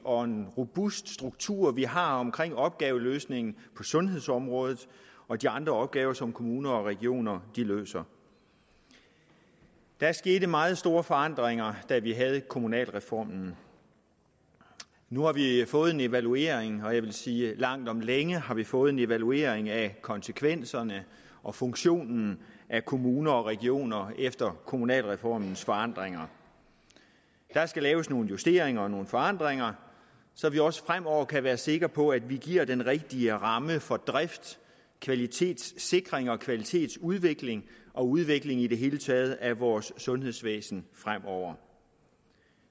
og en robust struktur vi har omkring opgaveløsningen på sundhedsområdet og de andre opgaver som kommuner og regioner løser der skete meget store forandringer da vi havde kommunalreformen nu har vi fået en evaluering og jeg vil sige at vi langt om længe har fået en evaluering af konsekvenserne og funktionen af kommuner og regioner efter kommunalreformens forandringer der skal laves nogle justeringer og nogle forandringer så vi også fremover kan være sikre på at vi giver den rigtige ramme for drift kvalitetssikring og kvalitetsudvikling og udvikling i det hele taget af vores sundhedsvæsen fremover